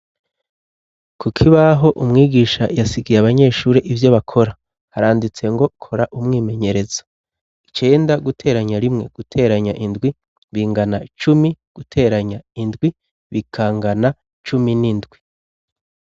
Kuko ibaho umwigisha yasigiye abanyeshuri ivyo bakora haranditse ngo kora umwimenyerezo icenda guteranya rimwe guteranya indwi bingana cumi guteranya indwi bikangana cumi n'indwi.